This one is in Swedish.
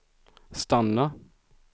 stanna